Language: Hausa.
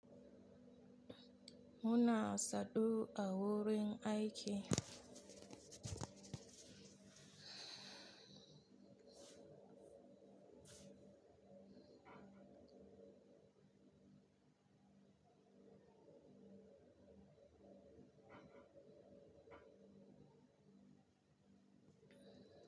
Muna sadu a wurin aiki.